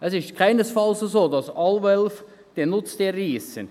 Es ist keinesfalls so, dass alle Wölfe Nutztiere reissen.